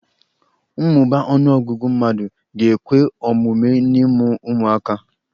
Mmụba ọnụọgụgụ mmadụ ga-ekwe omume n'ịmụ ụmụaka.